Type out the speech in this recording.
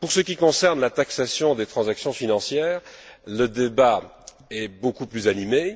Pour ce qui concerne la taxation des transactions financières, le débat est beaucoup plus animé.